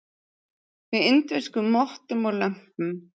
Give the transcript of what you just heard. Með indverskum mottum og lömpum.